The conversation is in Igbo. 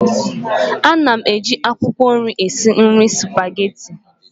Ana m eji akwụkwọ nri esi nri Supagetii